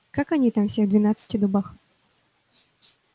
как они там все в двенадцати дубах